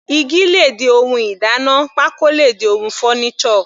Igi le di ohun ìdáná, pákó le di ohun furniture.